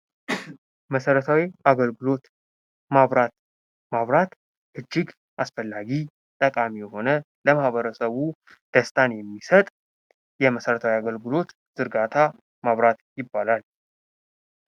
መሰረታዊ አገልግሎት፤ መብራት፦ መብራት እጅግ አስፈላጊ፥ ጠቃሚ የሆነ፥ ለማህበረሰቡ ደስታን የሚሰጥ የመሠረታዊ አገልገሎት ዝርጋታ መብራት ይባላል።